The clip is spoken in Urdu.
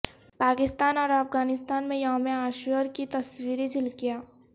پاکستان اور افغانستان میں یوم عاشور کی تصویری جھلکیاں